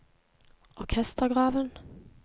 orkestergraven